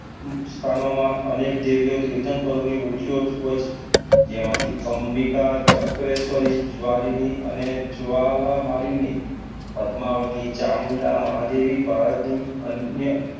સ્થાનોમાં અનેક દેવીઓ તીર્થંકરોની મૂર્તિઓ હોય છે. જેમાંથી અંબિકા, ચક્રેશ્વરી, જ્વાલીની અને જ્વાલામાલીની પદ્માવતી, ચામુંડા દેવી ભારતની અન્ય